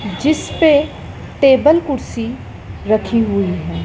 जिसपे टेबल कुर्सी रखी हुई है।